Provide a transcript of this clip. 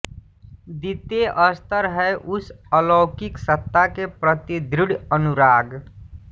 द्वितीय स्तर है उस अलौकिक सत्ता के प्रति दृढ अनुराग